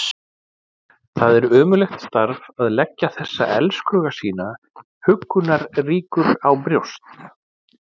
Það er ömurlegt starf að leggja þessa elskhuga sína huggunarríkur á brjóst.